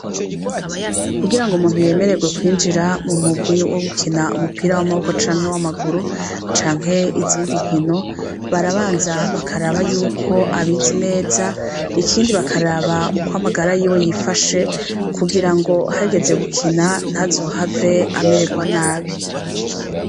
Kugirango umuntu yemererwe kwinjira mu murwi wo gukina umupira w' amaboko canke w' amaguru, canke izindi nkino, barabanza bakaraba yuko abizi neza, ikindi bakaraba ukwo amagara yifashe, kugirango hageze gukina ntazohave amererwa nabi.